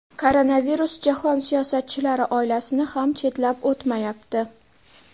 Koronavirus jahon siyosatchilari oilasini ham chetlab o‘tmayapti.